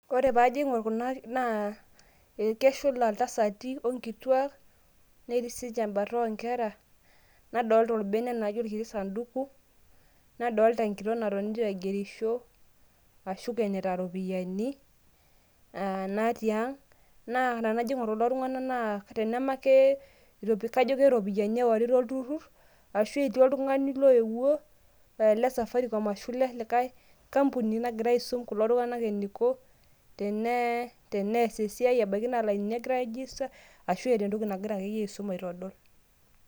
Ore pajo aingur kunaa naa keshula ntasati onkituak, netii ainche embata onkera ,nadolta orbeni naji otii osanduku ,nadolta enkitok natonta enkeisho arashu ikenita ropiyiani aa natii aang na tanajaingor kulo tunganak naa tenamajo ake kaji ropiyiani ikenita eorita olturur arashu etii oltungani oeuo e le Safaricom arashu lelikae ambuni negira aisum kulo tunganak eniko tenee teneas esiias ebaki naa lainini egira ai register araahu eeta entoki akeyie nagira aisum aitodol.